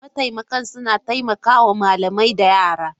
Mataimakan suna taimaka wa malamai da yara.